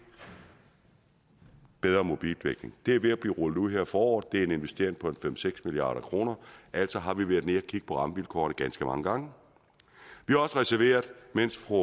bedre mobildækning det er ved at blive rullet ud her i foråret det er en investering på en fem seks milliard kroner altså har vi været nede at kigge på rammevilkårene ganske mange gange mens fru